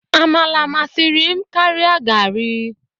Amala masịrị m karia garri.